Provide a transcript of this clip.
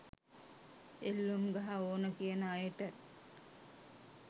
එල්ලුම් ගහ ඕන කියන අයට